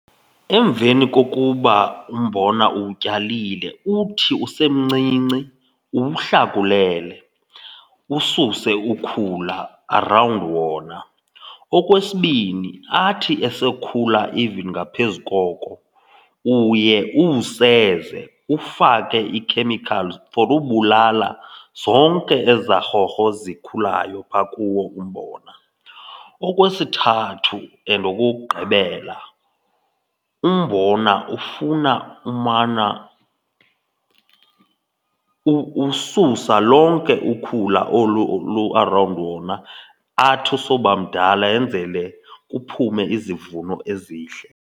Emveni kokuba umbona uwutyayile, uthi usemncinci uwuhlakulele ususe ukhula arawundi wona. Okwesibini, athi esokhula even ngaphezu koko uye uwuseze, ufake ii-chemicals for ubulala zonke ezaa rhorho zikhulayo phaa kuwo umbona. Okwesithathu and okokugqibela, umbona ufuna umana ususa lonke ukhula olu lu-around wona athi esoba mdala yenzele kuphume izivuno ezihle.